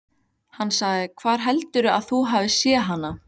Hann sagði: Hvar heldurðu að þú hafir séð hana?